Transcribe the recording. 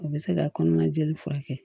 O bɛ se ka kɔnɔna jeli furakɛ